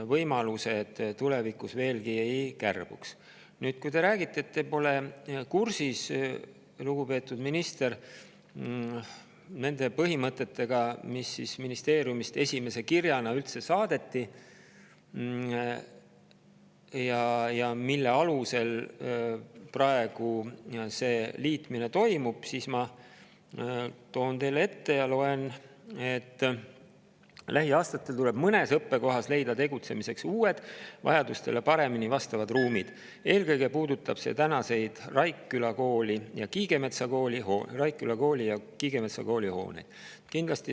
Kui te, lugupeetud minister, räägite, et te pole kursis nende põhimõtetega, mis ministeeriumist esimese kirjaga saadeti ja mille alusel praegu see liitmine toimub, siis ma loen teile ette: lähiaastatel tuleb mõnes õppekohas leida tegutsemiseks uued, vajadustele paremini vastavad ruumid, eelkõige puudutab see tänaseid Raikküla Kooli ja Kiigemetsa Kooli hooneid.